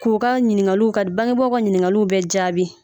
K'u ka ɲininkaliw ka d baŋebaw ka ɲininkaliw bɛɛ jaabi